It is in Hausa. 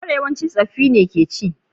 Goro yawance tsoffi ne ke ci.